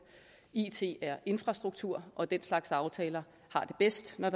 it er infrastruktur og den slags aftaler har det bedst når